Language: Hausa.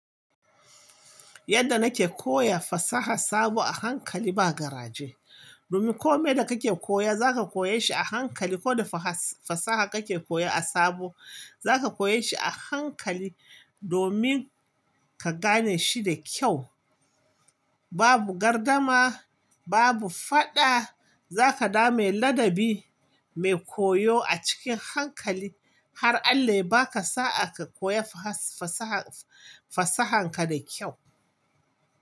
Yadda nake koya fasaha sabo a hankali ba garaje. Domin kome da kake koya zaka koya shi a hankali, ko da fasaha kake koya a sabo zaka koye shi a hankali domin ka gane shi da kyau. Babu gardama, babu fada, zaka dame ladabi mai koyo a cikin hankali har Allah ya baka sa'a ka koya fasaha fasahanka da kyau.